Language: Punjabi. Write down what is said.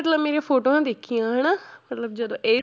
ਮਤਲਬ ਮੇਰੀਆਂ ਫੋਟੋਆਂ ਦੇਖੀਆਂ ਹਨਾ ਮਤਲਬ ਜਦੋਂ ਇਹ